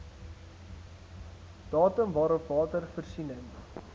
datum waarop watervoorsiening